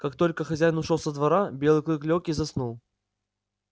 как только хозяин ушёл со двора белый клык лёг и заснул